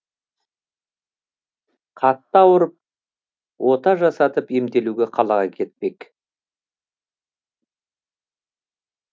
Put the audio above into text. қатты ауырып ота жасатып емделуге қалаға кетпек